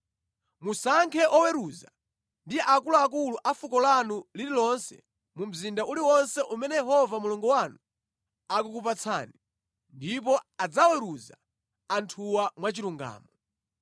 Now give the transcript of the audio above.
Musankhe oweruza ndi akuluakulu a fuko lanu lililonse mu mzinda uliwonse umene Yehova Mulungu wanu akukupatsani, ndipo adzaweruza anthuwa mwachilungamo.